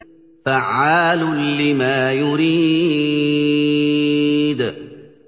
فَعَّالٌ لِّمَا يُرِيدُ